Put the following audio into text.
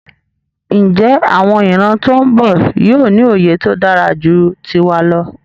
Njé àwon ìran tón bò yío ní òye tódáraju tiwa lọ?